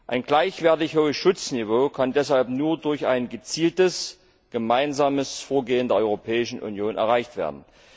Ein gleichwertig hohes Schutzniveau kann deshalb nur durch ein gezieltes gemeinsames Vorgehen der Europäischen Union erreicht werden.